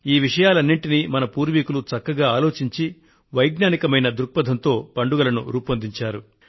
ఈ విషయాలన్నింటినీ మన పూర్వులు చక్కగా ఆలోచించి వైజ్ఞానికమైన దృక్పథంతో పండుగలను రూపొందించారు